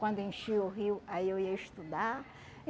Quando enchia o rio, aí eu ia estudar.